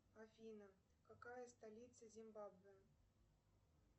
афина какая столица зимбабве